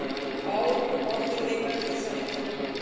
Báðir eiga þeir sæti í nefndinni